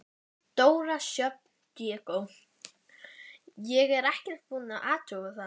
Dóra Sjöfn Diego: Ég er ekkert búin að athuga það?